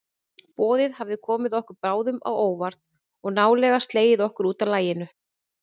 Boðið hafði komið okkur báðum á óvart og nálega slegið okkur útaf laginu.